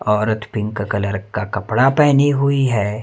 औरत pink colour का कपड़ा पहनी हुई है।